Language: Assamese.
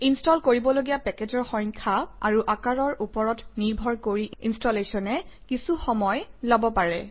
ইনষ্টল কৰিবলগীয়া পেকেজৰ সংখ্যা আৰু আকাৰৰ ওপৰত নিৰ্ভৰ কৰি ইনষ্টলেশ্যনে কিছু সময় লব পাৰে